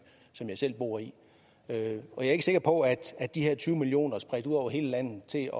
som jeg selv bor i jeg er ikke sikker på at at de her tyve million kroner spredt ud over hele landet til